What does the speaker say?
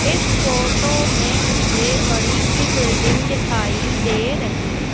इस फोटो में मुझे बड़ी सी बिल्डिंग दिखाई दे रही --